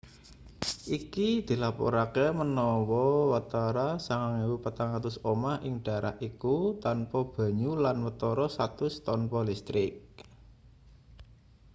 iki dilaporake menawa watara 9400 omah ing daerah iku tanpa banyu lan watara 100 tanpa listrik